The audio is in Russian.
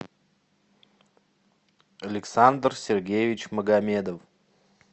александр сергеевич магомедов